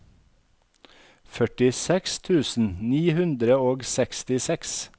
førtiseks tusen ni hundre og sekstiseks